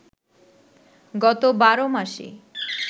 গত ১২ মাসে